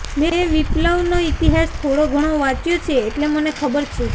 મેં વિપ્લવનો ઇતિહાસ થોડોઘણો વાંચ્યો છે એટલે મને ખબર છે